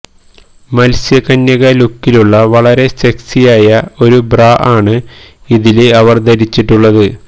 മത്സ്യകന്യക ലുക്കിലുള്ള വളരെ സെക്സിയായ ഒരു ബ്രാ ആണ് ഇതില് ഇവര് ധരിച്ചിട്ടുള്ളത്